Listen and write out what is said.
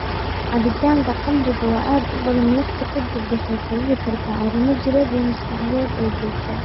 Cabitaanka khamriga oo aad u badan waqti ka dib waxay sababi kartaa arrimo jireed iyo maskaxeed oo joogto ah.